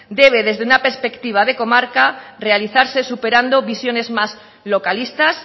debe desde una perspectiva de comarca realizarse superando visiones más localistas